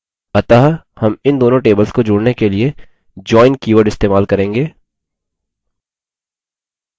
अतः हम इन दोनों tables को जोड़ने के लिए join कीवर्ड इस्तेमाल करेंगे